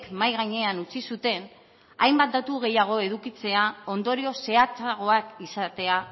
mahai gainean utzi zuten hainbat datu gehiago edukitzea ondorio zehatzagoak izatea